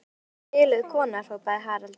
Ertu eitthvað biluð kona, hrópaði Haraldur.